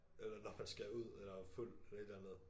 Eller når man skal ud eller er fuld eller et eller andet